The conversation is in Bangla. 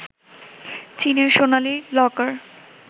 চীনের সোনালি লকার